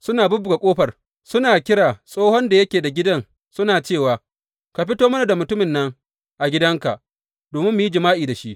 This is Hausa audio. Suna bubbuga ƙofar, suna kira tsohon da yake da gidan suna cewa, Ka fito mana da mutumin nan a gidanka domin mu yi jima’i da shi.